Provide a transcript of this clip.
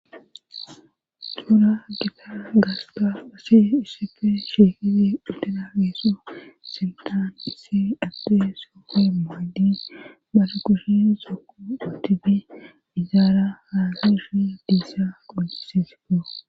tuura gita gasta asi issepfe sheehidi uttina geesu sintan issi adde skopfe maaddi bara kushi soqu utifi izaara haasishi diissa qunsisifo